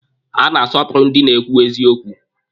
A na-asọpụrụ ndị na-ekwu eziokwu.